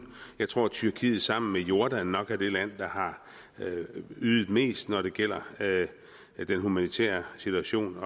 jeg tror at tyrkiet sammen med jordan nok er det land der har ydet mest når det gælder den humanitære situation og